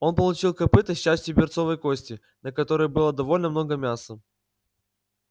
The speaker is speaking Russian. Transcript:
он получил копыто с частью берцовой кости на которой было довольно много мяса